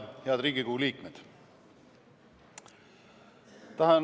Head Riigikogu liikmed!